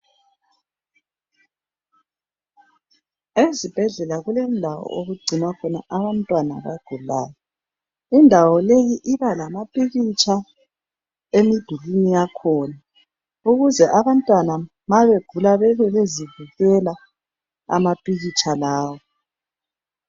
Ezibhedlela kulendawo okugcinwa khona abantwana abagulayo indawo leyi iba lamapikitsha emidulwini yakhona ukuze abantwana mabegula bebebezibukela amapikitsha lawa.